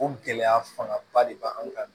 O gɛlɛya fanga ba de bɛ an kan